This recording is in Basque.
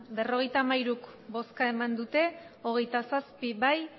berrogeita hamairu bai hogeita zazpi ez